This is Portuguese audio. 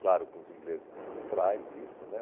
Claro, com os ingleses por trás disso, né?